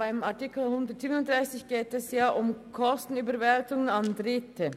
In Artikel 137 geht es um Kostenüberwälzungen an Dritte.